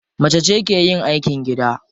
Macece ke yin aikin gida.